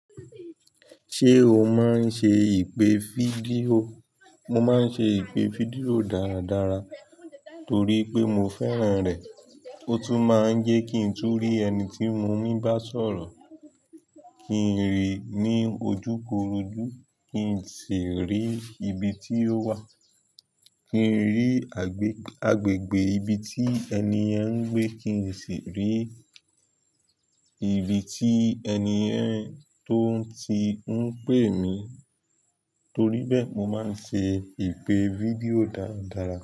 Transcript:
Ṣé o máa ń ṣe ìpè fídíò? Mo máa ń ṣe ìpè fídíò dáradára torí pé mo fẹ́ràn rẹ̀. Ó tún máa ń jẹ́ kí n tun lè rí ẹni tí mo mi bá sọ̀rọ̀, kí n rí i ní ojúkorojú, kí n sì rí ibi tí ó wà, kí n rí agbè agbègbe ibi tí ẹniyen n gbé, kí n sì rí. Ibi tí ẹni tó ti ń pè mí. Torí bẹ́ẹ̀, mo máa ń ṣe ìpè fídíò dáradára.